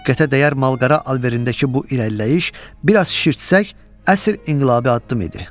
Diqqətə dəyər mal-qara alverindəki bu irəliləyiş, bir az şişirtsək, əsl inqilabi addım idi.